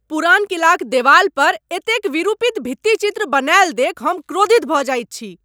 पुरान किलाक देबालपर एतेक विरूपित भित्तिचित्र बनाएल देख हम क्रोधित भय जाइत छी ।